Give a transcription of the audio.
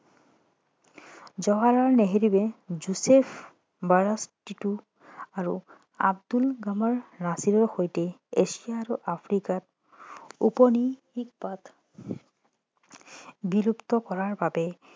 জৱাহৰলাল নেহেৰুৱে Joseph Broz Tito আৰু Abdul Gamal নাছিৰৰ সৈতে এচিয়া আৰু আফ্ৰিকাত উপনিৱেশবাদ বিলুপ্ত কৰাৰ বাবে